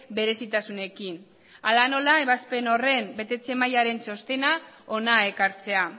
berezitasunekin hala nola ebazpen horren betetze mailaren txostena hona ekartzea